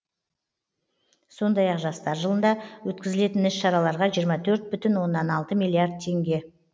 сондай ақ жастар жылында өткізілетін іс шараларға жиырма төрт бүтін оннан алты миллиард теңге